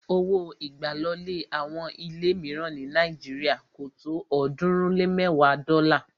Owó ìgbàlọlé àwọn ilé míìràn ní Nàíjírìà kò tó ọ̀ọ́dúnrún lé mẹ́ẹ̀wa dọ́là